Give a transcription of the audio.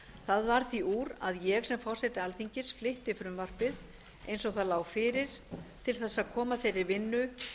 það var því úr að ég sem forseti alþingis flytti frumvarpið eins og það lá fyrir til að koma þeirra vinnu